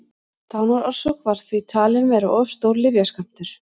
dánarorsök var því talin vera of stór lyfjaskammtur